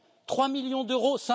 trois millions d'euros